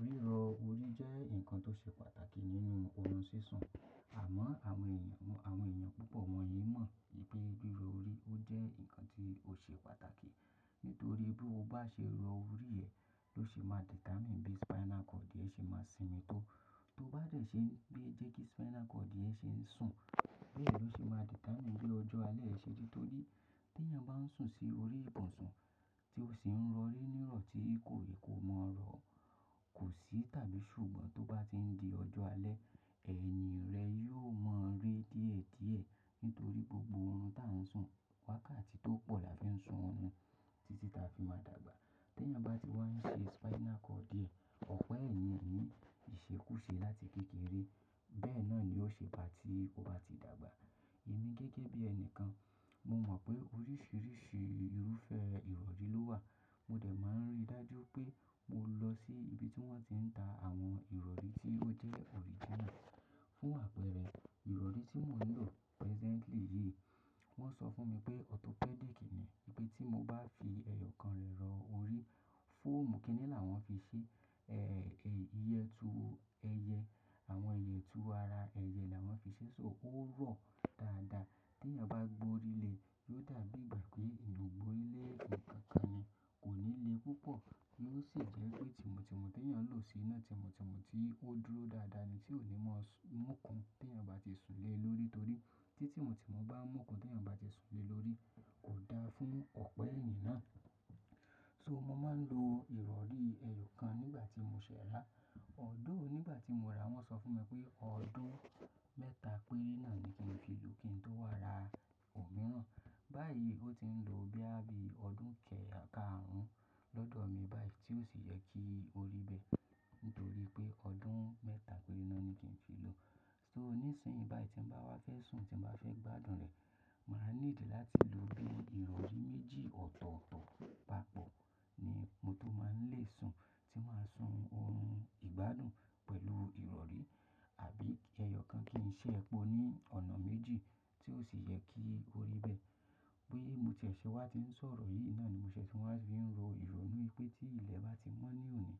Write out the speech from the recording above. Ríro orí jẹ́ nǹkan tó ṣe pàtàkì nínú ọrún sísun Àmọ́ àwọn eeyan awon èèyàn púpọ̀ wọ̀nyí mọ̀ pé ríro orí ó jẹ́ nǹkan tí ó ṣe pàtàkì nítorí bí o bá ṣe rọ orí ẹ ló ṣe máa determine bí spinal cord yẹn ṣe máa sinmi tó. Ti o bá dẹ̀ ṣe n pẹ jẹ́ kí spinal cord e ṣe ń sùn, bẹ́ẹ̀ ló ṣe máa determine bí ọjọ́ alẹ́ e ṣe dí. Torí tí èèyàn bá ń sùn sí orí ibùsùn tí ó sì ń rọ orí ní ìrọ̀ tí kò mọ̀ rọ, kò sí tàbí ṣùgbọ́n tó bá ti ń di ọjọ́ alẹ́, ẹ̀yìn rẹ yóò mọ́ rẹ díẹ̀díẹ̀ nítorí gbogbo ohun tí a ń sùn, wákàtí tó pọ̀ la fi ń sùn orun títí ta fi máa dàgbà. Tí èèyàn bá ti wá ń ṣe spinal cord e ọ̀pa èèyàn ni ìṣekúṣe láti kékeré. Bẹ́ẹ̀ náà ni ó ṣe bá tí ó bá ti dàgbà. Èmi gẹ́gẹ́ bí ẹni kan, mo mọ̀ pé oríṣiríṣi irúfẹ́ ìrọ̀rí ló wà. Mo dẹ̀ máa ń rí i dájú pé mo lọ sí ibi tí wọ́n ti ń ta àwọn ìrọ̀rí tí ó jẹ́ original. Fún àpẹẹrẹ ìrọ̀rí tí mò ń lò presently yìí, wọ́n sọ fún mi pé orthopedic ni. Pé tí mo bá fi ẹyọ kan rẹ rọ orí, fọ́ọ̀mù kínní làwọn fi ṣe, iyetu ẹyẹ, àwọn iyetu ara ẹyẹ làwọn fi ṣe, so ó rọ̀ dáadáa. Tí èèyàn bá gbo orí lé e, yóò dàbí ìgbà pé eyan o gbórilé nkankan ni kò ní le púpọ̀. Yóò sì jẹ́ pé tìmù tìmù tí èèyàn lò sí iná tìmù tìmù tí ó dúró dáadáa ni tí ò ní máa múkun tí èèyàn bá ti sùn lé e lórí torí tí tìmù tìmù bá múkun tí èèyàn bá ti sùn lé e lórí kò dáa fún ọ̀pẹ èèyàn náà. So mo máa ń lo ìrọ̀rí ẹyọ kan nígbà tí mo ṣẹ̀ rà. Although nígbà tí mo rà wọ́n sọ fún mi pé ọdún mẹ́ta péré náà ni kí n fi lò kí n tó wá ra òmíràn. Báyìí ó ti ń lo boya bí ọdún ke karun lọ́dọ̀ mi báyìí tí ó sì yẹ kí ó rí bẹ́ẹ̀ nítorí pé ọdún mẹ́ta péré náà ni kí n fi lò. So nísinsìnyí báyìí tí mo bá wá fẹ́ sùn, tí mo bá fẹ́ gbádùn rẹ̀, màá ní ìdí láti lo bí ìrọ̀rí méjì ọ̀tọ̀ọ̀tọ̀ papọ̀ ni mo tó máa ń lè sùn tí màá sùn orun ìgbádùn pẹ̀lú ìrọ̀rí àbí ẹyọ kan kí n ṣe ẹpo ní ọ̀nà méjì tí ó sì yẹ kí ó rí bẹ́ẹ̀. Bí mo ti ṣẹ̀ wá ti ń sọ̀rọ̀ yìí náà ni mo ṣẹ̀ tí wọn fi ń ro ìrònú pé tí ilẹ̀ bá ti mọ́ ní òní,